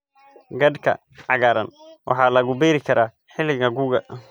Khadka cagaaran waxaa lagu beeri karaa xilliga gu'ga.